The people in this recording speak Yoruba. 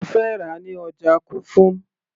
mo fẹ́ rà á ní ọjà kufum